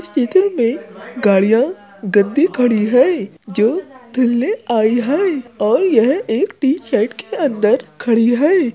मे गाड़ियाँ गंदी खडी हुई हैं जो धुलने आई हैं और ये एक टिन शेड के अंदर खडी हैं।